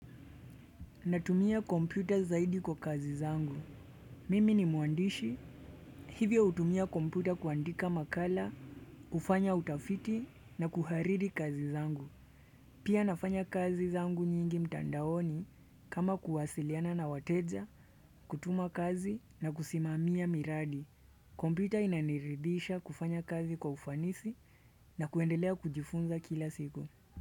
Natumia kompyuta zaidi kwa kazi zangu. Mimi ni muandishi. Hivyo utumia kompyuta kuandika makala, ufanya utafiti na kuharidi kazi zangu. Pia nafanya kazi zangu nyingi mtandaoni kama kuwasiliana na wateja, kutuma kazi na kusimamia miradi. Kompyuta inaniridhisha kufanya kazi kwa ufanisi na kuendelea kujifunza kila siku.